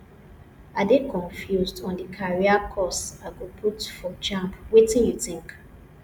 i dey confused on the career course i go put for jambwetin you think